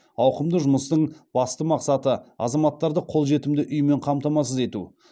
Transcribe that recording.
ауқымды жұмыстың басты мақсаты азаматтарды қолжетімді үймен қамтамасыз ету